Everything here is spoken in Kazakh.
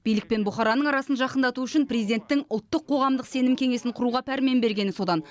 билік пен бұқараның арасын жақындату үшін президенттің ұлттық қоғамдық сенім кеңесін құруға пәрмен бергені содан